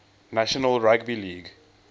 national rugby league